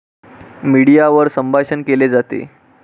मीडियावर संभाषण केले जाते.